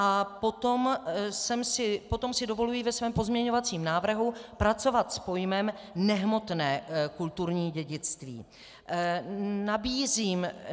A potom si dovoluji ve svém pozměňovacím návrhu pracovat s pojmem nehmotné kulturní dědictví.